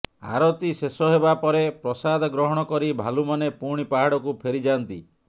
ଆରତୀ ଶେଷ ହେବା ପରେ ପ୍ରସାଦ ଗ୍ରହଣ କରି ଭାଲୁମାନେ ପୁଣି ପାହାଡକୁ ଫେରିଯାଆନ୍ତି